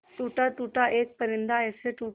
टूटा टूटा एक परिंदा ऐसे टूटा